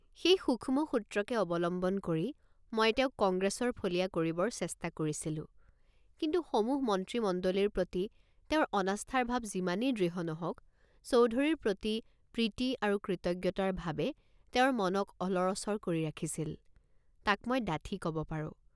সেই সূক্ষ্ম সূত্ৰকে অবলম্বন কৰি মই তেওঁক কংগ্ৰেছৰ ফলীয়া কৰিবৰ চেষ্টা কৰিছিলোঁ কিন্তু সমূহ মন্ত্ৰীমণ্ডলীৰ প্ৰতি তেওঁৰ অনাস্থাৰ ভাব যিমানেই দৃঢ় নহওকচৌধুৰীৰ প্ৰতি প্ৰীতি আৰু কৃতজ্ঞতাৰ ভাবে তেওঁৰ মনক অলৰঅচৰ কৰি ৰাখিছিল তাক মই ডাঠি কব পাৰোঁ।